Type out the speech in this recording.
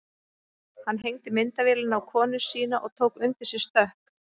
Hann hengdi myndavélina á konu sína og tók undir sig stökk.